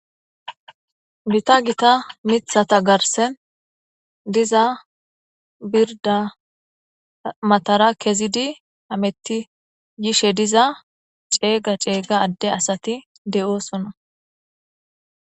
bita gita mithata garsen diza birda matara kezidi ametti yishe diza ceega ceega adde asati de7oosona